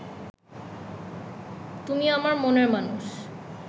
তুমি আমার মনের মানুষ